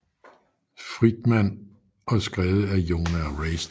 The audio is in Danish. Friedman og skrevet af Jonah Royston